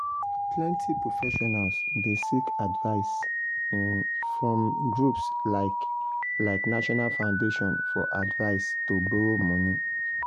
plenty professionals dey seek advice from groups like like national foundation for advise to borrow money